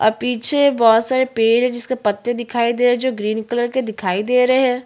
और half pant पेहना हुआ है जो ग्रे कलर का है एक और बच्चा है जो--